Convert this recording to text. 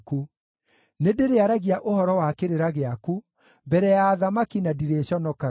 Nĩndĩrĩaragia ũhoro wa kĩrĩra gĩaku mbere ya athamaki na ndirĩconokaga,